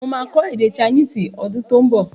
Mo máa kọ́ èdè chinese ọdún tó ún bọ̀